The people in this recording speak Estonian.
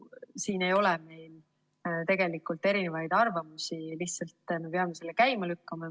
Siin ei ole meil tegelikult erinevaid arvamusi, me peame selle lihtsalt käima lükkama.